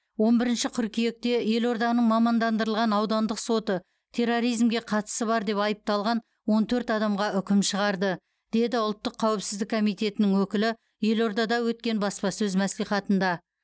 он бірінші қыркүйекте елорданың мамандандырылған аудандық соты терроризмге қатысы бар деп айыпталған он төрт адамға үкім шығарды деді ұлттық қауіпсіздік комитетінің өкілі елордада өткен баспасөз мәслихатында